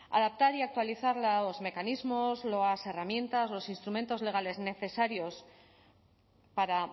adaptar y actualizar los mecanismos las herramientas los instrumentos legales necesarios para